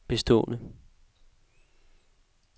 bestående